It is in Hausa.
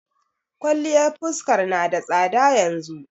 Kwaliyar fuskar na da tsada yanzu.